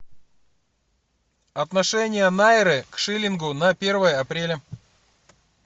отношение найры к шиллингу на первое апреля